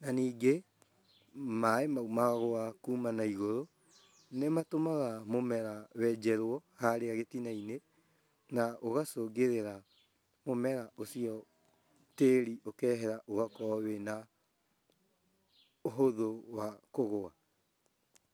na ningĩ maaĩ mau magwa kuma na igũrũ, nĩmatũmaga mũmera wenjerwo harĩa gĩtinainĩ na ũgacũngĩrĩra mũmera ũcio tĩri ũkehera ũgakorwo wĩna ũhũthũ wa kũgũa .